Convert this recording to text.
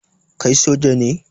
Kai soja ne?